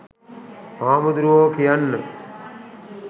හාමුදුරුවෝ කියන්න